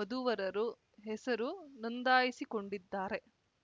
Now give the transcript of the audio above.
ವಧುವರರು ಹೆಸರು ನೋಂದಾಯಿಸಿಕೊಂಡಿದ್ದಾರೆ